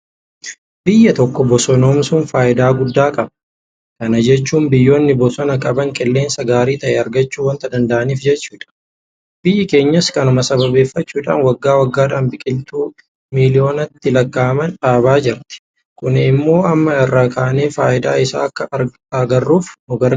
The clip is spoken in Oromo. Biyya tokko bosonoomsuun faayidaa guddaa qaba. Kana jechuun biyyoonni bosona qaban qilleensa gaarii ta'e argachuu waanta danda'aniif jechuudha. Biyyi keenyas kanuma sababeeffachuudhaan waggaa waggaadhaan biqiltuu miiliyoonatti lakkaa'aman dhaabaa jirti. Kun immoo amma irraa kaanee faayidaa isaa akka agarruuf nugargaareera.